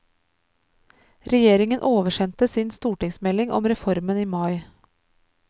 Regjeringen oversendte sin stortingsmelding om reformen i mai.